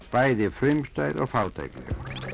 bæði frumstæð og fátækleg